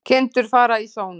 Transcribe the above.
Kindur fara í sónar